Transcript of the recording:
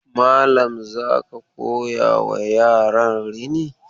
Malam za ka koyawa yaran rini?